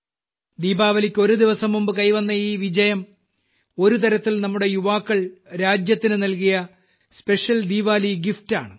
ദീപാവലിക്ക് ഒരു ദിവസംമുമ്പ് കൈവന്ന ഈ വിജയം ഒരുതരത്തിൽ നമ്മുടെ യുവാക്കൾ രാജ്യത്തിനു നൽകിയ സ്പെഷ്യൽ ദിവാൽ ഗിഫ്റ്റ് ആണ്